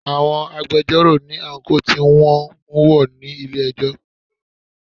Àwọn agbẹjọ́rò ní àńkò tí wọn ń wọ̀ ní ilé ẹjọ́.